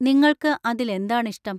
നിങ്ങൾക്ക് അതിൽ എന്താണ് ഇഷ്ടം?